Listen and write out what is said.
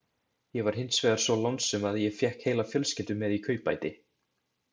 Ég var hins vegar svo lánsöm að ég fékk heila fjölskyldu með í kaupbæti.